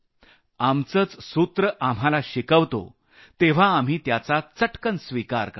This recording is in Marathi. आमचंच सूत्र आम्हाला शिकवतो तेव्हा आम्ही त्याचा चटकन स्विकार करतो